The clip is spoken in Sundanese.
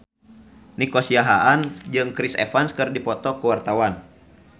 Nico Siahaan jeung Chris Evans keur dipoto ku wartawan